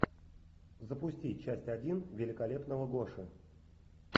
запусти часть один великолепного гоши